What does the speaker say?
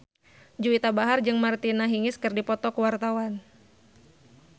Juwita Bahar jeung Martina Hingis keur dipoto ku wartawan